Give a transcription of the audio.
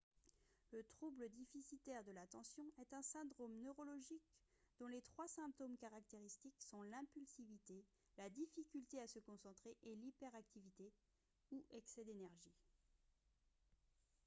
le trouble déficitaire de l'attention « est un syndrome neurologique dont les trois symptômes caractéristiques sont l'impulsivité la difficulté à se concentrer et l'hyperactivité ou excès d'énergie »